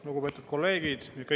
Lugupeetud kolleegid!